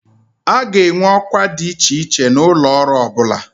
A ga-enwe ọkwa dị iche iche n'ụlọ ọrụ ọ bụla